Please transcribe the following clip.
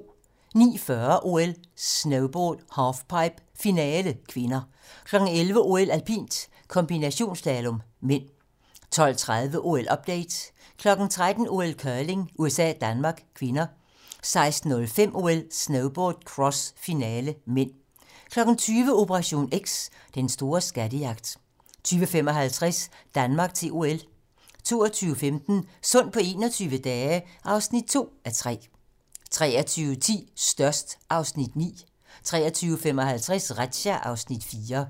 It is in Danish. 09:40: OL: Snowboard - halfpipe, finale (k) 11:00: OL: Alpint - kombinationsslalom (m) 12:30: OL-update 13:00: OL: Curling - USA-Danmark (k) 16:05: OL: Snowboard - cross, finale (m) 20:00: Operation X: Den store skattejagt 20:55: Danmark til OL 22:15: Sund på 21 dage (2:3) 23:10: Størst (Afs. 9) 23:55: Razzia (Afs. 4)